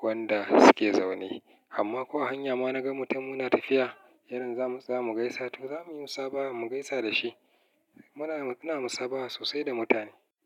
wanda suke zaune. Amma ko a hanya ma na ga mutum muna tafiya, yanzu za mu gaisa, to za mu yi musabaha mu gaisa da shi. Muna musabaha sosai da mutane.